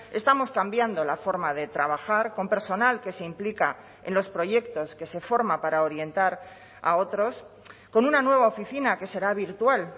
estamos cambiando la forma de trabajar con personal que se implica en los proyectos que se forma para orientar a otros con una nueva oficina que será virtual